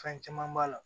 Fɛn caman b'a la